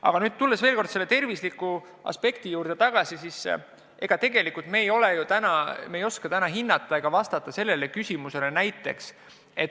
Aga veel kord tervise aspekti juurde tulles ütlen, et ega me tegelikult ei oska täna seda mõju hinnata ega vastata sellele küsimusele.